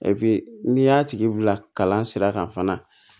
n'i y'a tigi wulila kalan sira kan fana